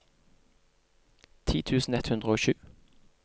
ti tusen ett hundre og sju